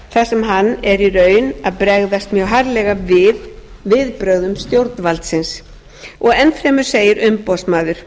sem hann er í raun að bregðast mjög harðlega við viðbrögðum stjórnvaldsins enn fremur segir umboðsmaður